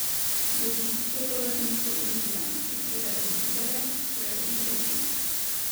Zavist je po latinsko invidia, ki pride od videre, torej od videti.